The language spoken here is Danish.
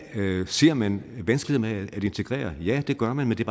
ser man vanskelighederne ved at integrere ja det gør man men det